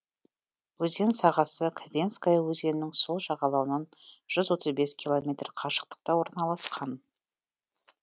өзен сағасы ковенская өзенінің сол жағалауынан жүз отыз бес киллометр қашықтықта орналасқан